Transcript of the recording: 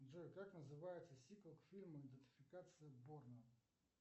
джой как называется сиквел к фильму идентификация борна